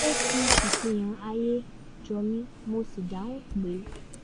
ó fi ìfihàn àayè jọ mi mo sì dáhùn pẹ́